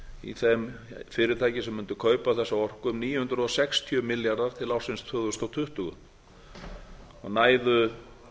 í þeim fyrirtækjum sem mundu kaupa þessa orku um níu hundruð sextíu milljarðar til ársins tvö þúsund tuttugu og næðu